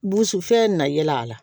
Burusi fɛn na yɛlɛ a la